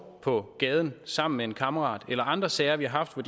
på gaden sammen med en kammerat eller andre sager vi har haft hvor